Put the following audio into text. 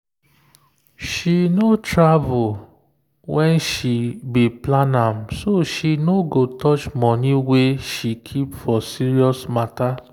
she no travel when she be plan am so she no go touch money wey she keep for serious matter.